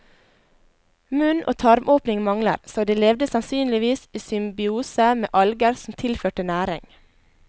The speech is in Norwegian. Munn og tarmåpning mangler, så de levde sannsynligvis i symbiose med alger som tilførte næring.